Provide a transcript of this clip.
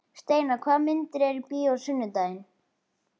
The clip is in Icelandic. Steinar, hvaða myndir eru í bíó á sunnudaginn?